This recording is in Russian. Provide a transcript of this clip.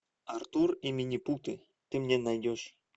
артур и минипуты ты мне найдешь